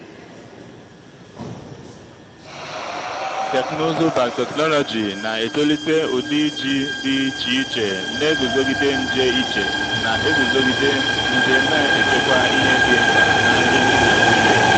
teknụzụ biotechnology na-etolite ụdị ji dị iche iche na-eguzogide nje iche na-eguzogide nje na-echekwa ihe dị mkpa na nri ndị naijiria.